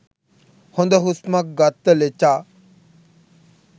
හොද හුස්මක් ගත්ත ලෙචා